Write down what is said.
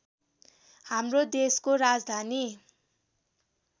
हाम्रो देशको राजधानी